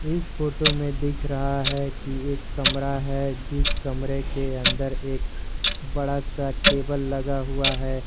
इस फोटो में दिख रहा है कि एक कमरा है जिस कमरे के अंदर एक बड़ा सा टेबल लगा हुआ है।